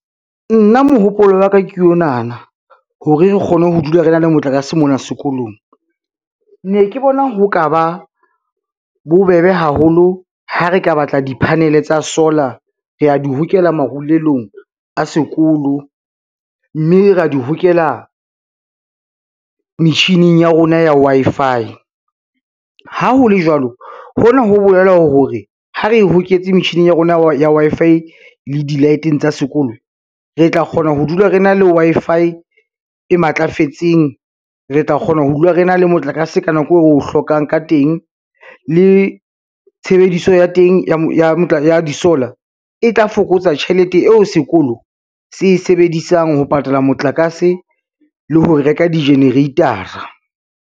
Nna mohopolo wa ka ke onana hore re kgone ho dula re na le motlakase mona sekolong, ne ke bona ho ka ba bobebe haholo ha re ka batla di-panel tsa solar, re a di hokela marulelong a sekolo, mme ra di hokela metjhining ya rona ya Wi-Fi. Ha ho le jwalo hona ho bolela hore ha re e hoketse metjhineng ya rona ya Wi-Fi le di-light-eng tsa sekolo, re tla kgona ho dula re na le Wi-Fi e matlafetseng. Re tla kgona ho dula re na le motlakase ka nako eo o hlokang ka teng, le tshebediso ya teng ya di-solar, e tla fokotsa tjhelete eo sekolo se sebedisang ho patala motlakase le ho reka di-generator-a.